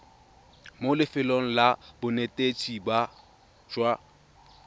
mo lefelong la bonetetshi jwa